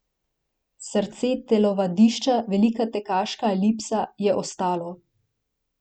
Srce telovadišča, velika tekaška elipsa, je ostalo.